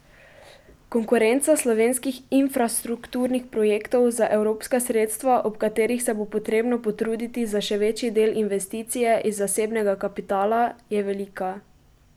Konkurenca slovenskih infrastrukturnih projektov za evropska sredstva, ob katerih se bo potrebno potruditi za še večji del investicije iz zasebnega kapitala, je velika.